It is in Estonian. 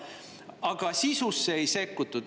Aga sisusse ei sekkutud.